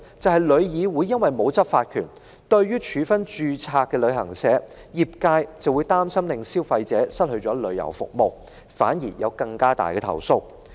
便是旅議會沒有執法權，業界擔心因處分註冊旅行社，令消費者得不到旅遊服務，反而招致更多投訴。